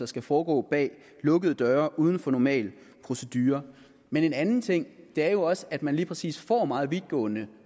skal foregå bag lukkede døre uden for normal procedure men en anden ting er jo også at man lige præcis får meget vidtgående